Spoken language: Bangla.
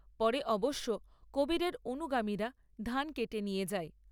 পরে অবশ্য কবীরের অনুগামীরা ধান কেটে নিয়ে যায়।